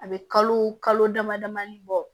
A bɛ kalo kalo dama damani bɔ